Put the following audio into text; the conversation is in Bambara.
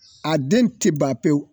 A den te ban pewu